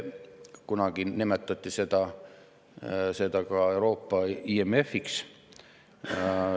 Kunagi nimetati seda ka Euroopa IMF‑iks.